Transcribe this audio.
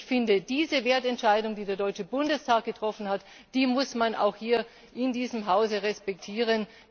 Ich finde, diese Wertentscheidung, die der Deutsche Bundestag getroffen hat, muss man auch hier in diesem Hause respektieren.